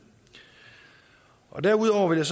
derudover vil jeg